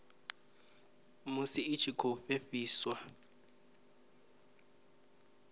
musi i tshi khou fhefheiswa